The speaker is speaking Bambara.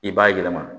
I b'a yɛlɛma